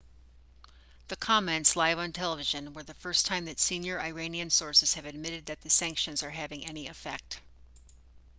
the comments live on television were the first time that senior iranian sources have admitted that the sanctions are having any effect